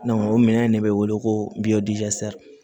o minɛn de bɛ wele ko